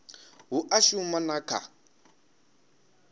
hu a shuma na kha